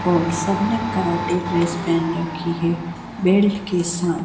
और सब ने कराटे ड्रेस पहन रखी है बेल्ट के सा--